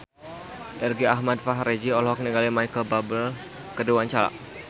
Irgi Ahmad Fahrezi olohok ningali Micheal Bubble keur diwawancara